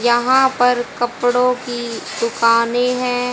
यहां पर कपड़ों की दुकानें है।